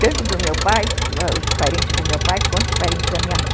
tanto do meu pai, os parentes do meu pai, quanto os parentes da minha mãe.